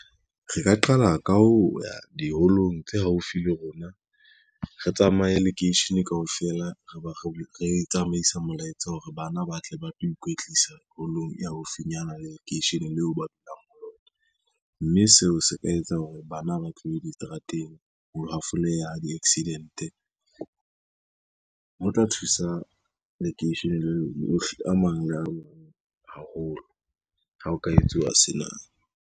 Re ka qala ka ho ya diholong tse haufi le rona, re tsamaye lekeishene kaofela re tsamaisa molaetsa hore bana ba tle ba tlo ikwetlisa holong e haufinyana le lekeisheneng leo ba dulang ho yona, mme seo se ka etsa hore bana ba tlohe diterateng, ho hafoleha di-accident. Ho tla thusa lekeisheneng lohle a mang le haholo ha o ka etsuwa sena.